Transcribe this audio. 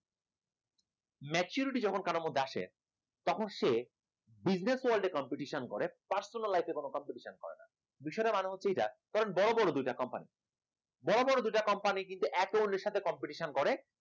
maturity যখন কারোর মধ্যে আসে তখন সে business world এ competition করে personal life এ কোন competition করে না, বিষয়টা মানে এটা ধরেন বড় বড় দুইটা company বড় বড় দুইটা company কিন্তু একে অপরের সাথে competition করে